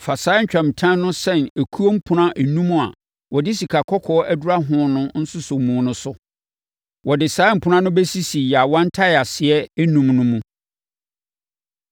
Fa saa ntwamutam no sɛn okuo mpunan enum a wɔde sikakɔkɔɔ adura ho no nsosɔmu no so. Wɔde saa mpunan no bɛsisi yaawa ntaeaseɛ enum no mu.